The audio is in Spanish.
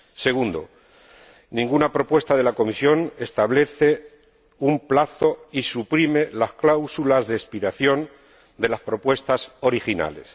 Segundo, ninguna propuesta de la Comisión establece un plazo ni suprime las cláusulas de expiración de las propuestas originales.